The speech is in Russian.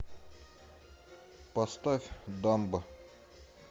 поставь дамбо